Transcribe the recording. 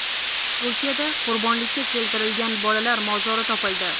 Turkiyada qurbonlikka keltirilgan bolalar mozori topildi.